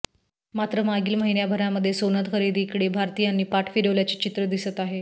मात्र मागील महिन्याभरामध्ये सोनं खरेदीकडे भारतीयांनी पाठ फिरवल्याचे चित्र दिसत आहे